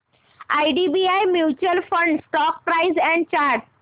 IDBI mutual fund stock price and chart